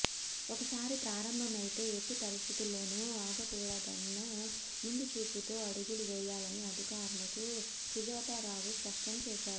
ఒకసారి ప్రారంభమైతే ఎట్టి పరిస్థితుల్లోనూ ఆగకూడదన్న ముందుచూపుతో అడుగులు వేయాలని అధికారులకు సుజాతారావు స్పష్టంచేశారు